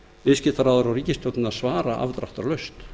viðskiptaráðherra og ríkisstjórnin að svara afdráttarlaust